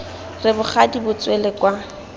re bogadi bo tswele kwa